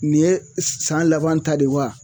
Nin ye san laban ta de wa?